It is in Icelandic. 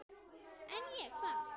En ég, hvað?